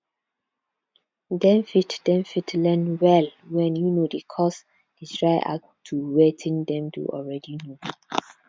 dem fot dem fot learn well when um di course dey try add to wetin dem don already know